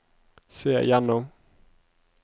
se gjennom